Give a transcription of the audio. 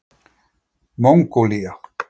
Mongólía